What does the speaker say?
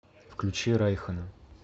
включи райхона